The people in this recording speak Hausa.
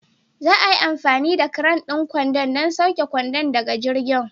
Za a yi amfani da cran ɗin kwandon don sauke kwandon daga jirgin.